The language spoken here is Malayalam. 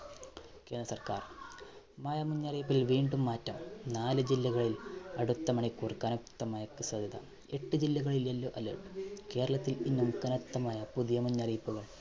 സര്‍ക്കാര്‍. മഴ മുന്നറിയിപ്പില്‍ വീണ്ടും മാറ്റം. നാലു ജില്ലകളില്‍, അടുത്ത മണിക്കൂര്‍ കനത്ത മഴയ്ക്ക് സാധ്യത. എട്ട് ജില്ലകളില്‍ yellow alert കേരളത്തില്‍ എങ്ങും കനത്ത മഴ. പുതിയ മുന്നറിയിപ്പുകള്‍.